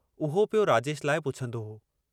उहो पियो राजेश लाइ पुछंदो हो।